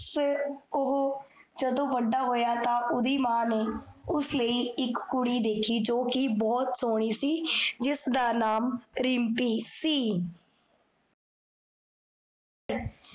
ਫੇਰ, ਓਹੋ, ਜਦੋਂ ਵੱਡਾ ਹੋਇਆ, ਤਾਂ ਓਦੀ ਮਾਂ ਨੇ, ਉਸ ਲਈ ਇਕ ਕੁੜੀ ਦੇਖੀ, ਜੋ ਕੀ ਬੋਹੋਤ ਸੋਹਨੀ ਸੀ, ਜਿਸਦਾ ਨਾਮ, ਰਿਮ੍ਪੀ ਸੀ